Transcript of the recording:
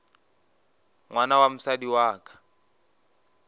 ngwana wa mosadi wa ka